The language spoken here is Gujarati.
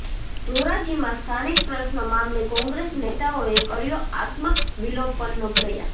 ધોરાજીમાં સ્થાનિક પ્રશ્નો મામલે કોંગ્રેસ નેતાઓએ કર્યો આત્મવિલોપનનો પ્રયાસ